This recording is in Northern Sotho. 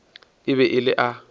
e be e le a